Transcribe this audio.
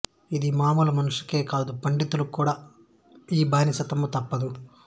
ఇది మామూలు మనుషులకే కాదు పండితులకు కూడా ఈ బానిసత్వము తప్పదు